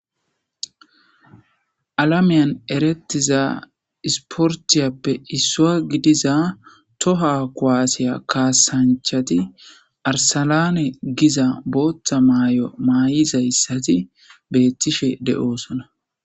alamiyan erettiza isportiyappe issua gidiza toha kuwaasiya kaasanchati arsalane giza booththa maay7o maa7izayssati beettishe de7oosona